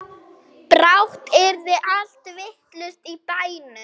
Brátt yrði allt vitlaust í bænum.